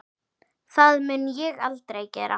Það mun ég aldrei gera.